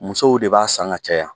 Musow de b'a san ka caya.